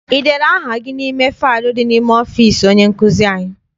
I dere aha gị n'ime faịlu dị n'ime ọfịịsi onye nkụzi anyị?